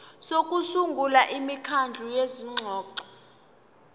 sokusungula imikhandlu yezingxoxo